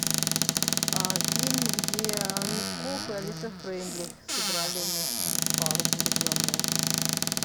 фильм где мягков и алиса фрейндлих сыграли вместе пару влюбленную